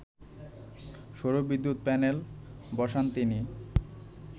সৌর বিদ্যুৎ প্যানেল বসান তিনি